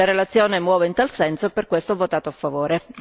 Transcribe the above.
La relazione muove in tal senso e per questo ho votato a favore.